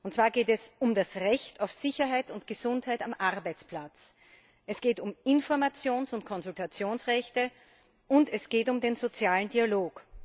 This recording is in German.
Und zwar geht es um das Recht auf Sicherheit und Gesundheit am Arbeitsplatz, es geht um Informations und Konsultationsrechte, und es geht um den sozialen Dialog.